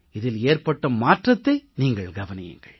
இதில் ஏற்பட்ட மாற்றத்தை நீங்கள் கவனியுங்கள்